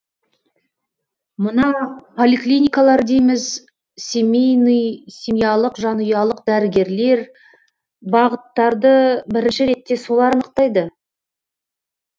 мына поликлиникалар дейміз семейный семьялық жанұялық дәрігерлер бағыттарды бірінші ретте солар анықтайды